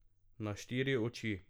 Na štiri oči.